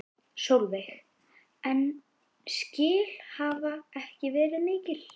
Sólveig: En skil hafa ekki verið mikil?